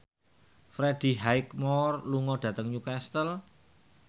Freddie Highmore lunga dhateng Newcastle